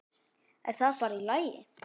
Er það bara í lagi?